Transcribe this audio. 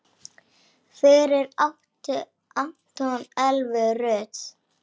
Fyrir átti Anton Elvu Rut.